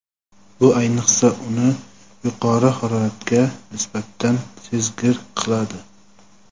bu ayniqsa uni yuqori haroratga nisbatan sezgir qiladi.